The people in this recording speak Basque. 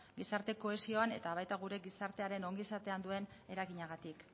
gizarte kohesioan eta baita gure gizartearen ongizatean ere duen eraginagatik